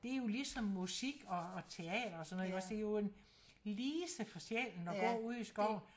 Det jo ligesom musik og teater og sådan noget iggås det jo en lise for sjælen at gå ude i skoven